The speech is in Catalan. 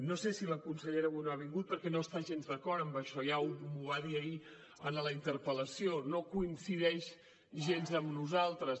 no sé si la consellera avui no ha vingut perquè no està gens d’acord amb això ja m’ho va dir ahir en la interpel·lació no coincideix gens amb nosaltres